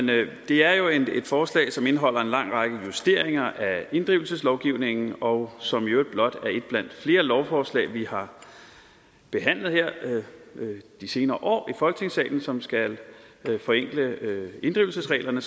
det er jo et forslag som indeholder en lang række justeringer af inddrivelseslovgivningen og som i øvrigt blot er et blandt flere lovforslag vi har behandlet her de senere år i folketingssalen som skal forenkle inddrivelsesreglerne